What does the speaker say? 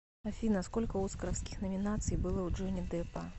афина сколько оскаровских номинаций было у джонни деппа